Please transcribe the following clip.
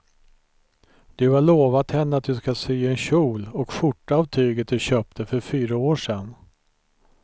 Du har lovat henne att du ska sy en kjol och skjorta av tyget du köpte för fyra år sedan.